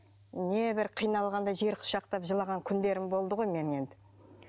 небір қиналғанда жер құшақтап жылаған күндерім болды ғой менің енді